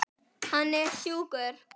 Hann er sjúkur.